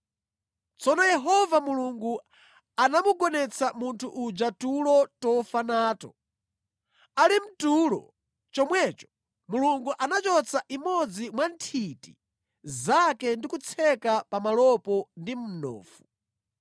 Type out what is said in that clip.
Tsono Yehova Mulungu anamugonetsa munthu uja tulo tofa nato; ali mtulo chomwecho, Mulungu anachotsa imodzi mwa nthiti zake ndi kutseka pamalopo ndi mnofu.